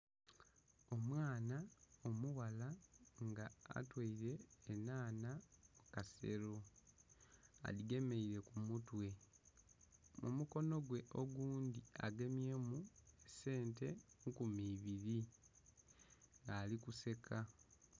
Omwaana omughala nga atoire enhanha mu kasero adhigemeire ku mu twe mumukonho gwe ogundhi agemyemu sente nkumi ibiri nga ali ku seka